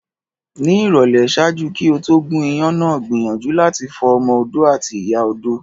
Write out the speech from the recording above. Ni ìrọ̀lẹ́, ṣaaju ki o to gún iyán náà gbiyanju lati fo ọmọ-odó ati ìyá odó